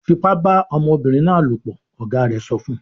"Fipá bá ọmọbìnrin náà lopọ̀!", Ọ̀gá rẹ̀ sọ fún